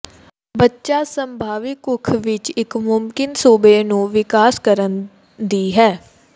ਬੱਚਾ ਸੰਭਾਵੀ ਕੁੱਖ ਵਿੱਚ ਇੱਕ ਮੁਮਕਿਨ ਸੂਬੇ ਨੂੰ ਵਿਕਾਸ ਕਰਨ ਦੀ ਹੈ